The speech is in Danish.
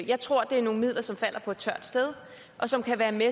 jeg tror det er nogle midler som falder på et tørt sted og som kan være med